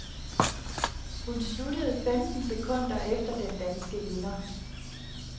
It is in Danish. Hun sluttede femten sekunder efter den danske vinder.